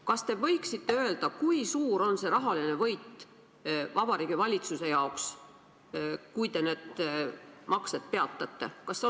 Kas te võiksite öelda, kui suur on rahaline võit Vabariigi Valitsuse jaoks, kui te need maksed peatate?